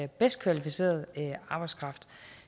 bedst kvalificerede arbejdskraft